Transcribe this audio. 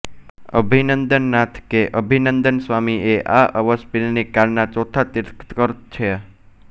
અભિનંદન નાથ કે અભિનંદન સ્વામી એ આ અવસર્પિણી કાળના ચોથા તીર્થંકર છે